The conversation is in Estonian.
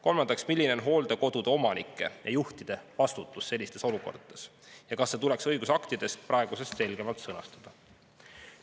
Kolmandaks, milline on hooldekodude omanike ja juhtide vastutus sellistes olukordades ja kas see tuleks õigusaktides praegusest selgemalt sõnastada?